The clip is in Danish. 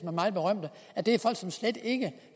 af det er folk som slet ikke